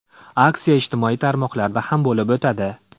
Aksiya ijtimoiy tarmoqlarda ham bo‘lib o‘tadi.